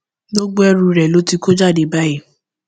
gbogbo ẹrù rẹ ló ti kó jáde báyìí